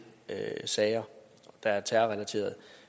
sager der er terrorrelaterede